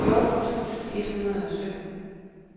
fjorten tusind et hundrede og sytten